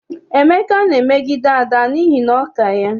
Emeka na-emegbu Ada n'ihi na ọ ka ya.